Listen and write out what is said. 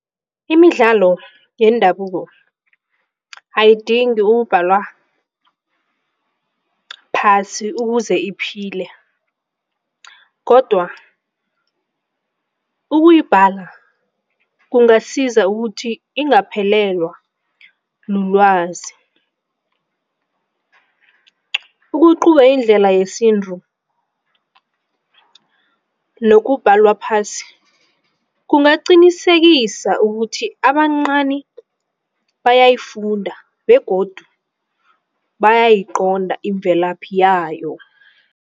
Imidlalo yendabuko ayidingi ukubhalwa phasi ukuze iphile kodwa ukuyibhala kungasiza ukuthi ingaphelelwa lulwazi. indlela yesintu nokubhalwa phasi kungaqinisekisa ukuthi abancani bayayifunde begodu bayayiqonda imvelaphi yayo.